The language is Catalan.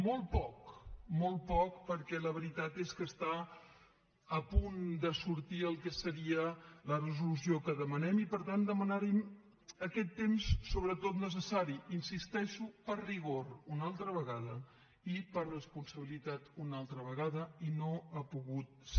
molt poc molt poc perquè la veritat és que està a punt de sortir el que seria la resolució que demanem i per tant demanar aquest temps sobretot necessari hi insisteixo per rigor una altra vegada i per responsabilitat una altra vegada i no ha pogut ser